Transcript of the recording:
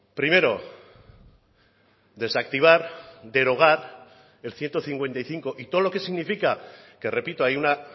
primero desactivar derogar el ciento cincuenta y cinco y todo lo que significa que repito hay una